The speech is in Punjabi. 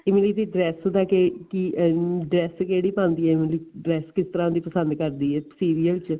ਇਮਲੀ ਦੀ dress ਦਾ ਕੇ ਕੀ dress ਕਿਹੜੀ ਪਾਂਦੀ ਏ ਇਮਲੀ dress ਕਿਸ ਤਰ੍ਹਾਂ ਦੀ ਪਸੰਦ ਕਰਦੀ ਏ serial ਚ